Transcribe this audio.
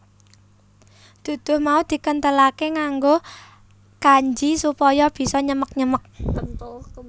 Duduh mau dikenthelake nganggo kanji supaya bisa nyemek nyemek